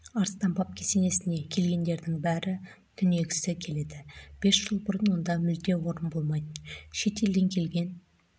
арыстан баб кесенесіне келгендердің бәрі түнегісі келеді бес жыл бұрын онда мүлде орын болмайтын шетелден келген